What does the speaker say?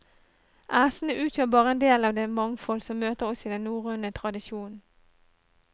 Æsene utgjør bare en del av det mangfold som møter oss i den norrøne tradisjonen.